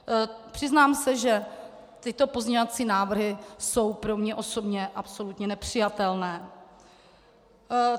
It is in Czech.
Přiznám se, že tyto pozměňovací návrhy jsou pro mě osobně absolutně nepřijatelné.